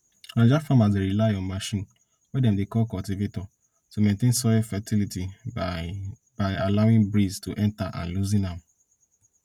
naija farmers dey rely on machine wey dem dey call cultivator to maintain soil fertility by by allowing breeze to enter and loosen am